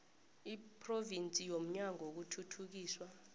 lephrovinsi lomnyango wokuthuthukiswa